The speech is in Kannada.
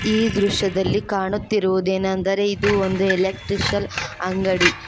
ಈ ದೃಶ್ಯದಲ್ಲಿ ಕಾಣುತ್ತಿರುವುದೇನೆಂದರೆ ಇದು ಒಂದು ಎಲೆಕ್ಟ್ರಿಕಲ್ ಅಂಗಡಿ.